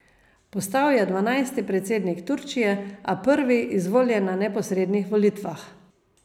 Postal je dvanajsti predsednik Turčije, a prvi, izvoljen na neposrednih volitvah.